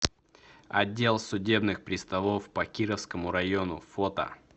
отдел судебных приставов по кировскому району фото